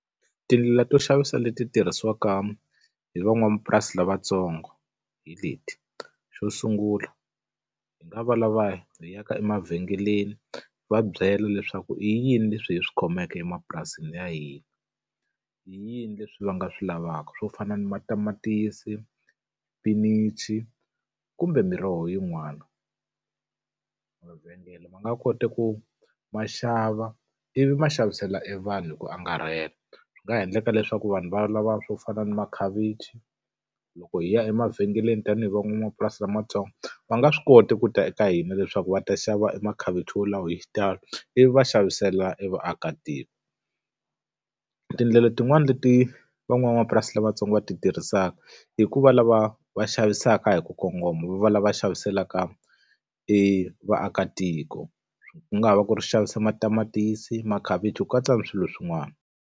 Tindlela to xavisa leti tirhisiwaka hi van'wamapurasi lavatsongo hi leti. Xo sungula, hi nga va lava hi yaka emavhengeleni hi va byela leswaku i yini leswi hi swi khomeke emapurasini ya hina, i yini leswi va nga swi lavaka. Swo fana na matamatisi, xipinichi, kumbe miroho yin'wana. ma nga koti ku ma xava ivi ma xavisela evanhu hi ku angarhela. Swi nga endleka leswaku vanhu va lava swo fana na makhavichi, loko hi ya emavhengeleni tanihi van'wamapurasi lamantsongo, va nga swi koti ku ta eka hina leswaku va ta xava emakhavichi wolawo hi xitalo, ivi va xavisela evaakatiko. Tindlela tin'wani leti van'wamapurasi lavatsongo va ti tirhisaka, i ku va lava va xavisaka hi ku kongoma vo va lava xaviselaka vaakatiko. Ku nga va ku ri xavisa matamatisi, makhavichi, ku katsa na swilo swin'wana.